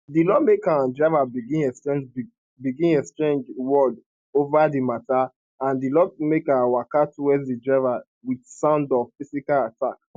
di lawmaker and driver begin exchange begin exchange words ova di matta and di lawmaker waka towards di driver wit sound of phisical attack